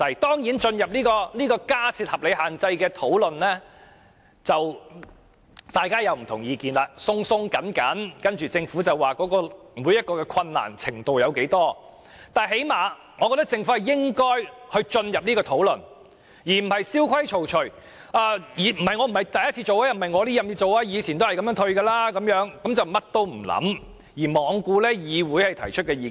當然，若展開有關加設限制的討論，大家會有很多不同意見，政府亦會表示有很大困難，但最少我認為政府應展開這個討論，而不是蕭規曹隨，表示政府以往也是這樣豁免差餉的，然後甚麼都不理，罔顧議會提出的意見。